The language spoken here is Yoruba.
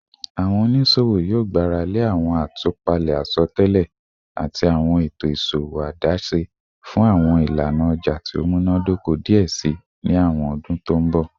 Awọn oniṣowo yoo gbarale awọn atupale asọtẹlẹ ati awọn eto iṣowo adaṣe fun awọn ilana ọja ti o munadoko diẹ sii ni awọn ọdun to n bọ